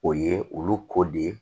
O ye olu ko de ye